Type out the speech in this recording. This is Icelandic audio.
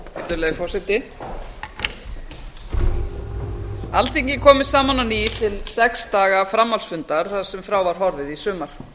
alþingi er komið saman á ný til sex daga framhaldsfunda þar sem frá var horfið í sumar